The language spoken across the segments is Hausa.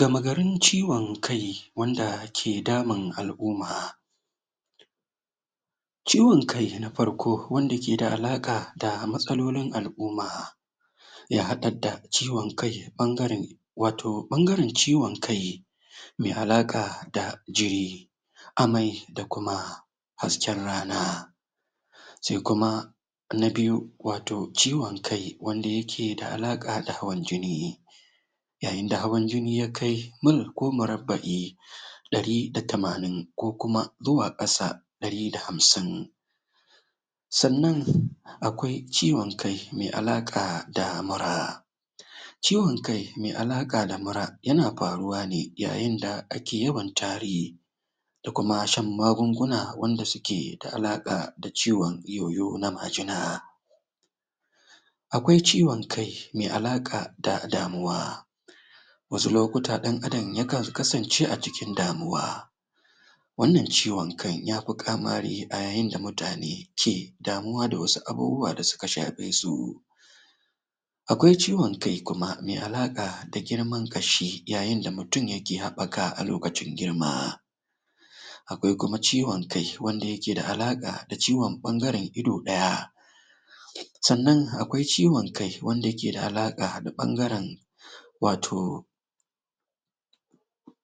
gama garin ciwan kai wanda yake damun al'umma ciwan kai na farko wanda ke da alaƙa da matsalolin al'umma yah haɗa da ciwan kai ɓangaren wato ɓangaren ciwan kai me alaƙa da jiri amai da kuma hasken rana sai kuma na biyu wato ciwan kai wanda yake da alaƙa da hawan jini yayin da hawan jini ya kai mara ko marabbaɗ e ɗari da tamanin ko kuma zuwa ƙasa ɗari da hamsin sannan akwai ciwan kai mai alaƙa da mura ciwan kai mai alaƙa da mura yana faruwa ne yayin da ake yawan tari ko kuma shan magunguna wanda suke da alaƙa da ciwan yoyo na majina akwai ciwan kai mai alaƙa da damuwa wasu lokuta ɗan adam yakan kasance a cikin damuwa wannan ciwan kan yafi ƙamari a yayin da mutane ke damuwa da wasu abubuwa da suka shafe su akwai ciwan kai kuma me alaƙa da girman ƙashi yayin da mutum yake haɓɓaka a lokacin girma akwai kuma ciwan kai wanda yake da alaƙa da ciwan ɓangaren ido ɗaya sannan akwai ciwan kan wanda yake da alaƙa da ɓangaren wato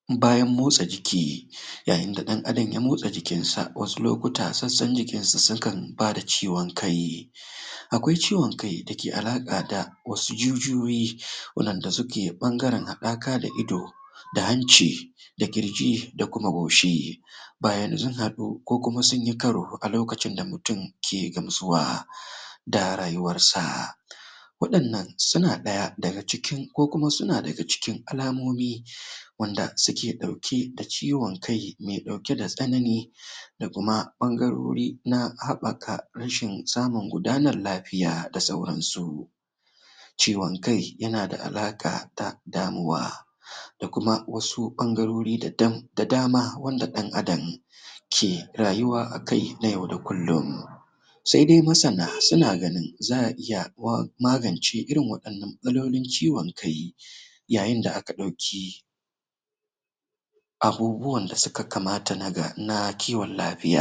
bayan motsa jiki yayin da ɗan adam ya motsa jikin sa wasu lokuta sassan jikinsa sukan ba da ciwan kai akwai ciwan kai da ke alaƙa da wasu jijiyoyi waɗanda suke ɓangaren haɗaka da ido da hanci da ƙirji da kuma goshi bayan sun haɗu ko kuma sunyi karo a lokacin da mutum ke gamsuwa da rayuwar sa waɗannan suna ɗaya daga cikin ko kuma suna daga cikin alamomi wanda suke ɗauke da ciwan kai mai ɗauke da tsanani da kuma ɓangarori na haɓɓaka rashin samun gudanar lafiya da sauran su ciwan kai yana da alaƙa ta damuwa da kuma wasu ɓangarori da da da dama wanda ɗan adam ke rayuwa a kai na yau da kullin sai dai masana suna ganin za'a iya wa magance irin wa'innan kalolin ciwan kai yayin da aka ɗauki abubuwan da suka kamata na ga na kiwan lafiya